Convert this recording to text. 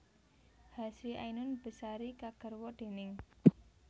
Hasri Ainun Besari kagarwa déning